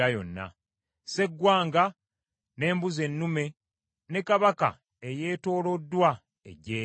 sseggwanga, n’embuzi ennume, ne kabaka eyeetooloddwa eggye lye.